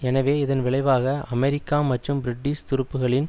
எனவே இதன் விளைவாக அமெரிக்கா மற்றும் பிரிட்டிஷ் துருப்புக்களின்